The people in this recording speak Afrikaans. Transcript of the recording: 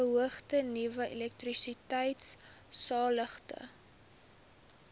beoogde nuwe elektrisiteitsaanlegte